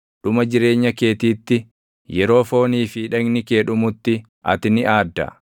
Dhuma jireenya keetiitti, yeroo foonii fi dhagni kee dhumutti ati ni aadda.